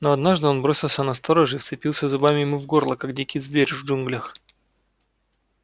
но однажды он бросился на сторожа и вцепился зубами ему в горло как дикий зверь в джунглях